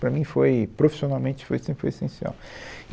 Para mim foi, profissionalmente, foi sempre foi essencial.